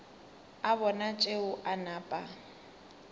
a bona tšeo a napa